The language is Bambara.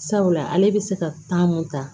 Sabula ale bɛ se ka kan mun ta